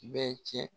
Bɛɛ cɛ